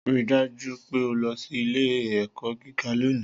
Rii daju pe o lọ si ile-ẹkọ giga loni